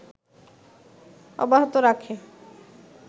অব্যাহত রাখে